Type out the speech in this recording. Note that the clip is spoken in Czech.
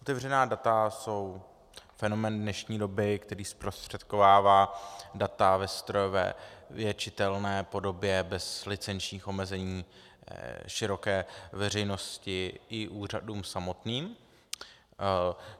Otevřená data jsou fenomén dnešní doby, který zprostředkovává data ve strojově čitelné podobě bez licenčních omezení široké veřejnosti i úřadům samotným.